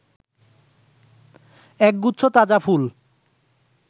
একগুচ্ছ তাজা ফুল